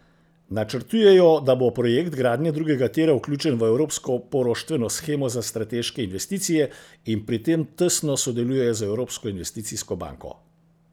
Načrtujejo, da bo projekt gradnje drugega tira vključen v evropsko poroštveno shemo za strateške investicije in pri tem tesno sodelujejo z Evropsko investicijsko banko.